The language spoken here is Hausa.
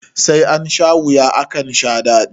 Sai ansha wuya, akan sha daɗi.